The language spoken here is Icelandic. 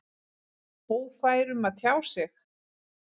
Ófær um að tjá sig?